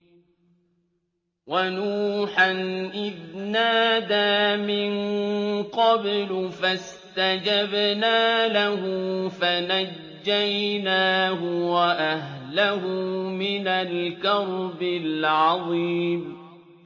وَنُوحًا إِذْ نَادَىٰ مِن قَبْلُ فَاسْتَجَبْنَا لَهُ فَنَجَّيْنَاهُ وَأَهْلَهُ مِنَ الْكَرْبِ الْعَظِيمِ